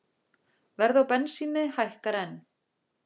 Verð á bensíni hækkar enn